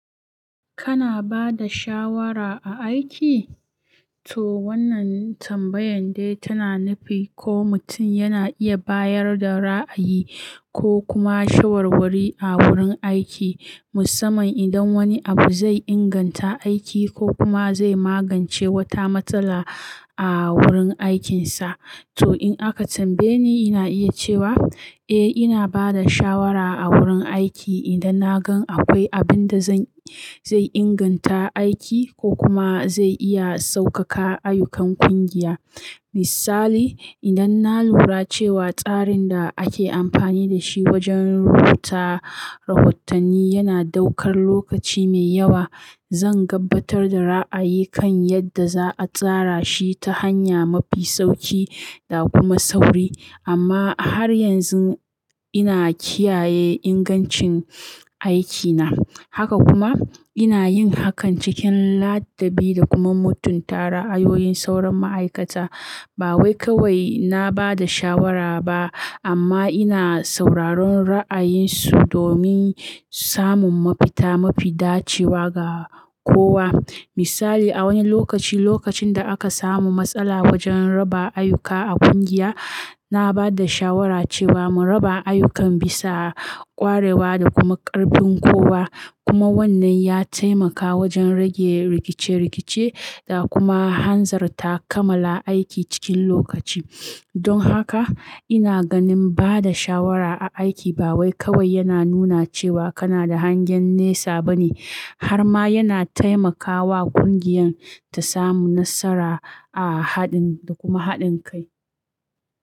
Kana ba da shawara a aiki? To wannan tambayan dai tana nufi ko mutum yana iya bayar da ra'ayi ko kuma shawarwari a wurin aiki musamman idan wani abu zai inganta aiki ko kuma zai magance wata matsala a wurin aikinsa. To in aka tambaye ni, ina iya cewa eh ina ba da shawara a wurin aiki idan na gan akwai abin da zan, zai inganta aiki ko kuma zai iya saukaka ayyukan ƙungiya. Misali, idan na lura cewa tsarin da ake amfani da shi wajen rubuta rahotanni yana ɗaukar lokaci mai yawa, zan gabatar da ra'ayi kan yadda za a tsara shi ta hanya mafi sauki da kuma sauri. Amma har yanzu ina kiyaye ingancin aikina. Haka kuma ina yin hakan cikin ladabi da kuma mutunta ra'ayoyin sauran ma'aikata. Ba wai kawai na ba da shawara ba amma ina sauraron ra'ayinsu domin samun mafita mafi dacewa ga kowa. Misali, a wani lokaci, lokacin da aka samu matsala wajen raba ayyuka a ƙungiya, na ba da shawara cewa mu raba ayyukan bisa ƙwarewa da kuma ƙarfin kowa. Kuma wannan ya taimaka wajen rage rikice-rikice da kuma hanzarta kammala aiki cikin lokaci. Don haka ina ganin ba da shawara a aiki ba wai kawai yana nuna cewa kana da hangen nesa bane har ma yana taimakawa ƙungiyan ta samu nasara a haɗin da kuma haɗin kai.